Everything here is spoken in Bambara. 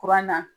Kuran na